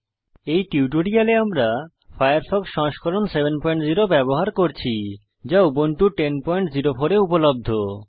এই টিউটোরিয়ালে আমরা ফায়ারফক্স সংস্করণ 70 ব্যবহার করছি যা উবুন্টু 1004 এ উপলব্ধ